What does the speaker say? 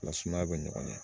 Nga sumaya be ɲɔgɔn ɲɛ